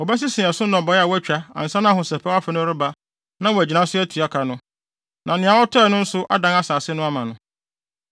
wɔbɛsese ɛso nnɔbae a wɔatwa ansa na Ahosɛpɛw Afe no reba na wɔagyina so atua ka no, na nea ɔtɔe no nso adan asase no ama no.